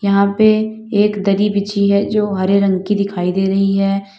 यहां पे एक दरी बिछी है जो हरे रंग की दिखाई दे रही है।